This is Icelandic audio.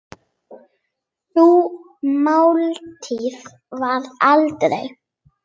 Sú máltíð varð aldrei.